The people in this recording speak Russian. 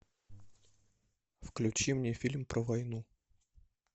включи мне фильм про войну